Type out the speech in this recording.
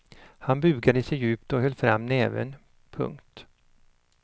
Han bugade sig djupt och höll fram nävern. punkt